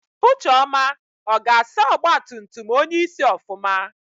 Ucheọma ọ ga-asa ọgbatumtum onyeisi ofụma?